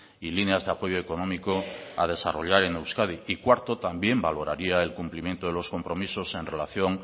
y líneas de apoyo económico a desarrollar en euskadi y cuarto también valoraría el cumplimiento de los compromisos en relación